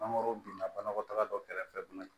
Mangoro binna banakɔtaga dɔ kɛrɛfɛ bana